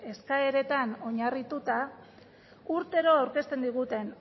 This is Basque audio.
eskaeretan oinarrituta urtero aurkezten diguten